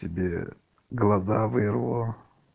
тебе глаза вырву